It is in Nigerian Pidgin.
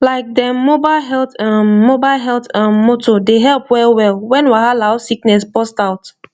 like dem mobile health um mobile health um motor dey help wellwell when wahala or sickness burst out